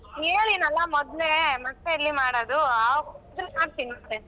ಹೇಳಿನಲ್ಲ ಮೊದ್ಲೇ, ಮತ್ತೆಲ್ಲಿ ಮಾಡೋದು ಆದ್ರೂ ಮಾಡ್ತೀನಿ ಮತ್ತೆ.